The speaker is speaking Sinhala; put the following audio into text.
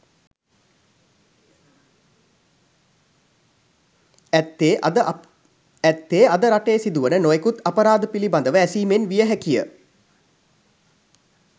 ඇත්තේ අද රටේ සිදුවන නොයෙකුත් අපරාධ පිළිබඳව ඇසීමෙන් විය හැකිය.